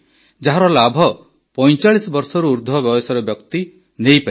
ଯାହାର ଲାଭ ୪୫ ବର୍ଷରୁ ଉର୍ଦ୍ଧ୍ୱ ବୟସର ସମସ୍ତ ବ୍ୟକ୍ତି ନେଇପାରିବେ